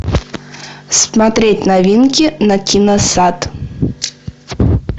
смотреть новинки на киносат